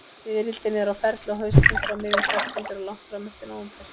Fiðrildin eru á ferli á haustin, frá miðjum september og langt fram eftir nóvember.